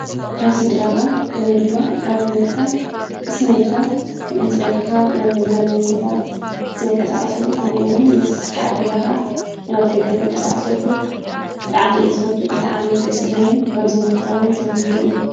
ኣብ ስድራኻ ውይ ድማ ኣብ ሕይወትካ ቕስኒ ኢልካ ክምንስ ደቀኻ ናብ መዝናነይ ቦታ ትንቀሳቐሰሉ ኾኑኡውን ምስ በዕልገዛኻ ናብ ደገ ትንቀሳቐሰሉ ጥዕሚኢ ዝበቱ ብጣ ኣሚእደስደኒ ከምዙይ ንኽኸውን ትንተይ እ።